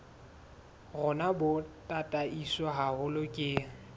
rona bo tataiswe haholo ke